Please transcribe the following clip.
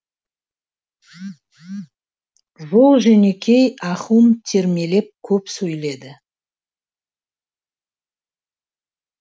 жол жөнекей ахун термелеп көп сөйледі